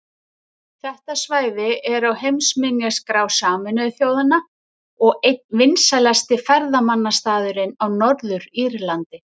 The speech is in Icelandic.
Þetta svæði er á heimsminjaskrá Sameinuðu þjóðanna og einn vinsælasti ferðamannastaðurinn á Norður-Írlandi.